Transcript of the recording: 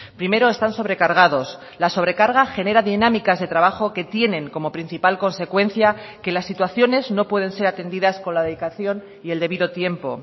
primero están sobrecargados la sobrecarga genera dinámicas de trabajo que tienen como principal consecuencia que las situaciones no pueden ser atendidas con la dedicación y el debido tiempo